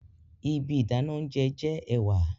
Ibi idana ounjẹ jẹ ẹwà